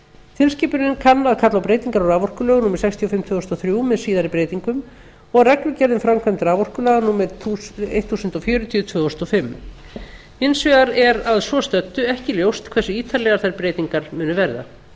tilskipunin kann að kalla á breytingar á raforkulögum númer sextíu og fimm tvö þúsund og þrjú með síðari breytingum og reglugerð um framkvæmd raforkulaga númer eitt þúsund fjörutíu tvö þúsund og fimm hins vegar er að svo stöddu ekki ljóst hversu ítarlegar þær breytingar munu verða í